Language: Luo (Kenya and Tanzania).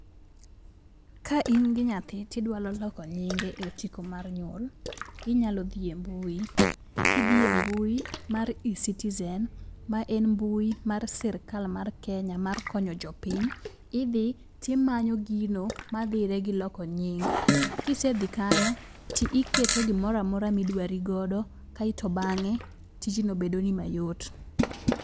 Ka in gi nyathi to idwaro loko nyinge e otiko mar nyuol, inyalo dhi embui. Kidhi embui mar e citizen, ma en mbui mar sirkal mar Kenya mar konyo jopiny. Idhi timanyo gino madhire giloko nying. Kisedhi kanyo, tiiketo gimoro amora ma idwari godo, kae to bang'e, tijno bedoni mayot.